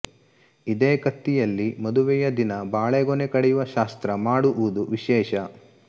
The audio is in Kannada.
ಇದೇ ಕತ್ತಿಯಲ್ಲಿ ಮದುವೆಯ ದಿನ ಬಾಳೆಗೊನೆ ಕಡಿಯುವ ಶಾಸ್ತ್ರ ಮಾಡುವುದು ವಿಶೇಷ